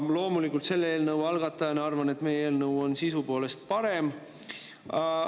Ma selle eelnõu algatajana loomulikult arvan, et meie eelnõu on sisu poolest parem.